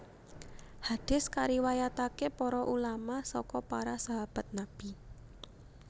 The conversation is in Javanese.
Hadis kariwayatake para ulama saka para sahabat Nabi